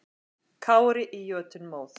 Kári í jötunmóð.